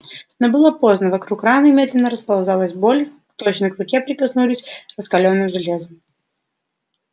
но было поздно вокруг раны медленно расползалась боль точно к руке прикоснулись раскалённым железом